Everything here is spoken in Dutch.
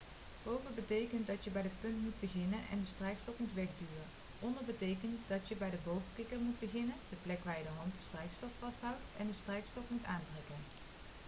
boven betekent dat je bij de punt moet beginnen en de strijkstok moet wegduwen. onder betekent dat je bij de boogkikker moet beginnen de plek waar je hand de strijkstok vasthoudt en de strijkstok moet aantrekken